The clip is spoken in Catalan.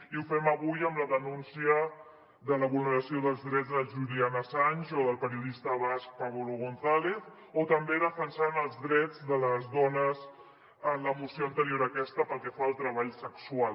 i ho fem avui amb la denúncia de la vulneració dels drets de julian assange o del periodista basc pablo gonzález o també defensant els drets de les dones en la moció anterior a aquesta pel que fa al treball sexual